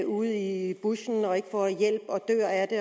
ude i bushen og ikke får hjælp og dør af det